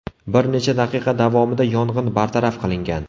Bir necha daqiqa davomida yong‘in bartaraf qilingan.